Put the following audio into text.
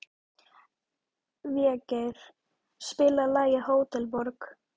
Végeir, spilaðu lagið „Hótel Borg“.